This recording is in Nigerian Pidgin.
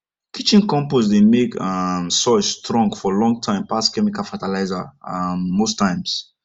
kitchen compost dey make um soil strong for long time pass chemical fertilizer um most times